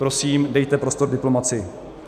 Prosím, dejte prostor diplomacii.